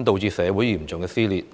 "，導致社會嚴重撕裂。